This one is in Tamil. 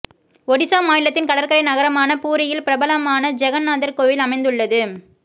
ஒடிசா மாநிலத்தின் கடற்கரை நகரமான பூரியில் பிரபலமான ஜெகன்நாதர் கோயில் அமைந்துள்ளது